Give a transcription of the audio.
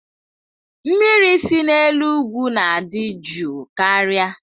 Mmiri si n'elu ugwu na-adị jụụ karịa.